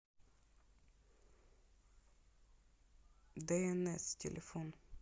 дээнэс телефон